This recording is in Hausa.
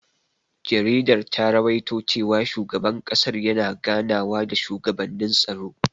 Jaridar ta rawaito cewa shugaban ƙasar yana ganawa da shugabannin tsaro.